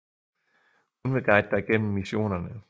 Hun vil guide dig gennem missionerne